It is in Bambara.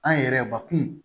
An yɛrɛ bakun